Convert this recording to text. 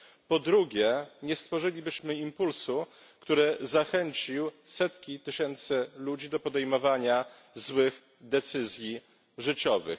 Po drugie, nie stworzylibyśmy impulsu, który zachęcił setki tysięcy ludzi do podejmowania złych decyzji życiowych.